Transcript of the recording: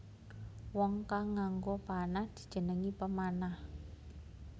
Wong kang nganggo panah dijenengi pemanah